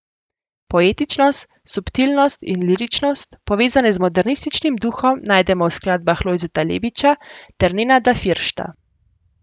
Poetičnost, subtilnost in liričnost, povezane z modernističnim duhom, najdemo v skladbah Lojzeta Lebiča ter Nenada Firšta.